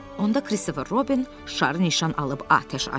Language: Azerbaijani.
Onda Kristofer Robin şarı nişan alıb atəş açdı.